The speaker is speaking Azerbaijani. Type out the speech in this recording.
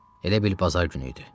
Elə bil bazar günü idi.